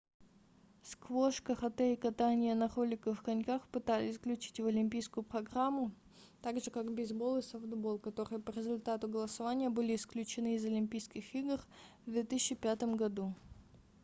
сквош карате и катание на роликовых коньках пытались включить в олимпийскую программу также как бейсбол и софтбол которые по результату голосования были исключены из олимпийских игр в 2005 году